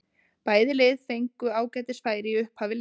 Bæði lið fengu ágætis færi í upphafi leiksins.